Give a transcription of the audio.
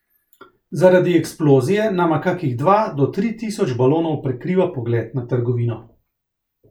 Zaradi eksplozije nama kakih dva do tri tisoč balonov prekriva pogled na trgovino.